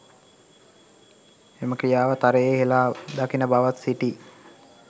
එම ක්‍රියාව තරයේ හෙළා දකින බවත් සිටී